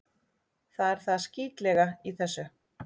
Það er það skítlega í þessu.